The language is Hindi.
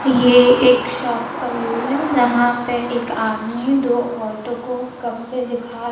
ये एक शॉप का व्यू है यहां पे एक आदमी दो औरतों को कपड़े दिखा--